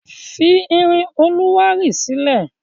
Fi irin olùwárí sílẹ̀!